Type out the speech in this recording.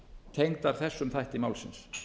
tengdar þessum þætti málsins